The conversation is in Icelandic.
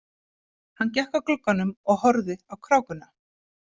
Hann gekk að glugganum og horfði á krákuna.